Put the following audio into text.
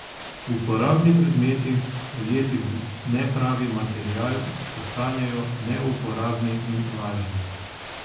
Uporabni predmeti, ujeti v nepravi material, postanejo neuporabni in lažni.